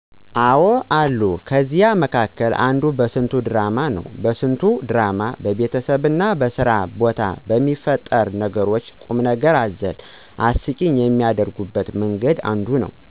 አዎ አለ። ከነዚያ መካከል አንዱ በስንቱ ድራማ ነው። በስንቱ ድራማ በቤተሰብና በስራ ቦታ በሚፈጠሩ ነገሮች ቁምነገር አዘል አስቂኝ የሚያደርጉበት መንገድ ነው።